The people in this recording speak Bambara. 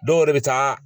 Dɔw yɛrɛ bɛ taa